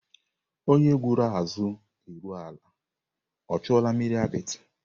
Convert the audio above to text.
Onye gwọrọ ázụ eru ala, o chuola mmiri apịtị?